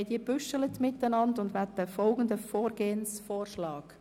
Wir haben diese strukturiert und unterbreiten Ihnen folgenden Vorgehensvorschlag: